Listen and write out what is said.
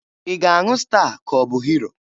Ị ga-aṅụ Staa ka ọ bụ Hiro?